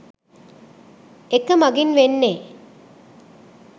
එක මගින් වෙන්නේ